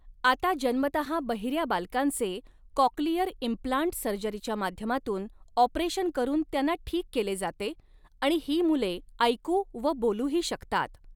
आता जन्मतहा बहिऱ्या बालकांचे काॅक्लियर इम्पलांट सर्जरीच्या माध्यमातून ऑपरेशन करून त्यांना ठीक केले जाते आणि ही मुले ऐकू व बोलू ही शकतात.